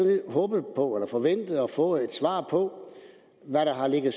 og er forventet at få et svar på hvad der har ligget